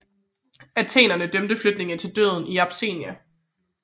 Athenerne dømte flygtningene til døden in absentia